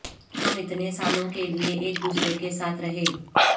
ہم اتنے سالوں کے لئے ایک دوسرے کے ساتھ رہ